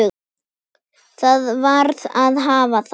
Það varð að hafa það.